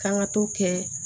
K'an ka t'o kɛ